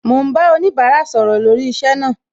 Mo ń bá oníbárà sọ̀rọ̀ lórí iṣẹ́ náà